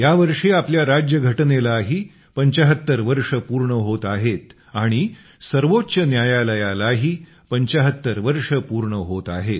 या वर्षी आपल्या राज्यघटनेलाही 75 वर्षे पूर्ण होत आहेत आणि सर्वोच्च न्यायालयालाही 75 वर्षे पूर्ण होत आहेत